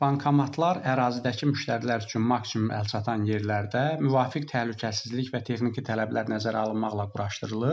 Bankomatlar ərazidəki müştərilər üçün maksimum əlçatan yerlərdə müvafiq təhlükəsizlik və texniki tələblər nəzərə alınmaqla quraşdırılır.